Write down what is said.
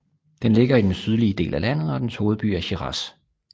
Den ligger i den sydlige del af landet og dens hovedby er Shiraz